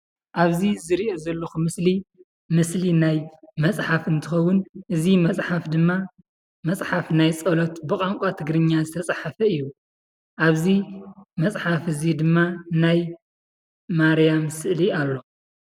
ኣብዚ ዝሪኦ ዘለኹ ምስሊ፡ ምስሊ ናይ መፅሓፍ እንትኸውን እዚ መፅሓፍ ድማ መፅሓፍ ናይ ፀሎት ብቋንቋ ትግርኛ ዝተፃሓፈ እዩ፡፡ ኣብዚ መፅሓፍ እዚ ድማ ናይ ማርያም ስእሊ ኣሎ፡፡